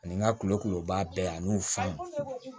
Ani n ka kulonko ban bɛɛ ani fan